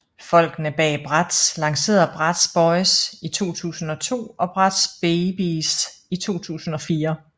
Folkene bag Bratz lancerede Bratz Boyz i 2002 og Bratz Babyz i 2004